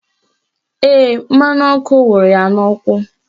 Ee, mmanụ ọkụ wụrụ ya n'ụkwụ